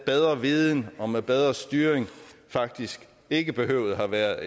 bedre viden og med en bedre styring faktisk ikke behøvede at have været